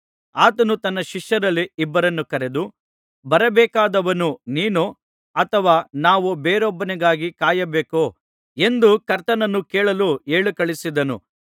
ಆತನು ತನ್ನ ಶಿಷ್ಯರಲ್ಲಿ ಇಬ್ಬರನ್ನು ಕರೆದು ಬರಬೇಕಾದವನು ನೀನೋ ಅಥವಾ ನಾವು ಬೇರೊಬ್ಬನಿಗಾಗಿ ಕಾಯಬೇಕೋ ಎಂದು ಕರ್ತನನ್ನು ಕೇಳಲು ಹೇಳಿಕಳುಹಿಸಿದನು